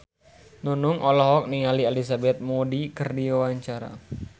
Nunung olohok ningali Elizabeth Moody keur diwawancara